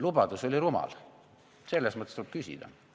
Lubadus oli rumal, selles mõttes tuleb küsida.